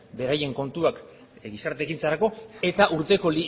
beraien kontuak gizarte ekintzarako eta urteko